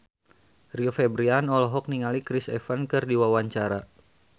Rio Febrian olohok ningali Chris Evans keur diwawancara